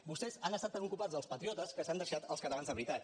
vostès han estat tan ocupats dels patriotes que s’han deixat els catalans de veritat